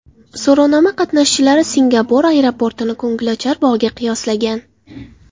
So‘rovnoma qatnashchilari Singapur aeroportini ko‘ngilochar bog‘ga qiyoslagan.